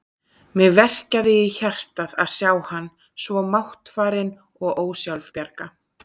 Mig verkjaði í hjartað að sjá hann svo máttfarinn og ósjálfbjarga.